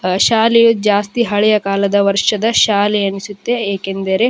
ಹ ಶಾಲೆ ಜಾಸ್ತಿ ಹಳೆಯ ಕಾಲದ ವರ್ಷದ ಶಾಲೆ ಅನಿಸುತ್ತೆ ಏಕೆಂದರೆ --